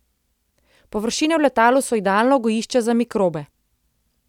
Površine v letalu so idealno gojišče za mikrobe.